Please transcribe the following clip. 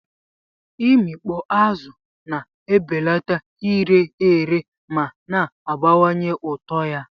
Imikpo azụ na-ebelata ire ere ma na-abawanye ụtọ ya.